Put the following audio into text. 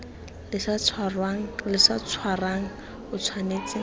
le sa tshwarang o tshwanetse